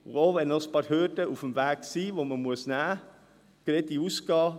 auch wenn auf dem Weg ein paar Hürden sind, die es zu überwinden gilt, geradeaus gehen.